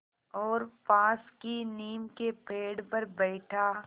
और पास की नीम के पेड़ पर बैठा